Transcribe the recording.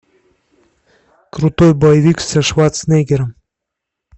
крутой боевик со шварценеггером